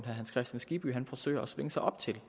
hans kristian skibby forsøger at svinge sig op til det